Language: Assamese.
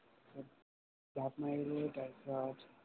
জাপ মৰিলো তাৰ পিছত